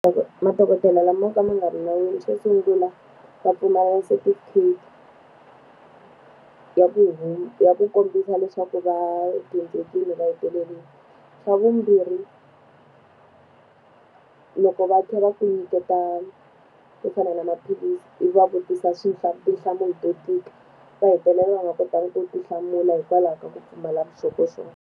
madokodela lamo ka ma nga ri nawini xo sungula ma pfumala setifikheti, ya ku ya ku kombisa leswaku va dyondzekile va . Xa vumbirhi loko va tlhela va ku nyiketa swo fana na maphilisi, i va vutisa tinhlamulo to tika, va hetelela va nga kotangi ku ti hlamula hikwalaho ka ku pfumala vuxokoxoko.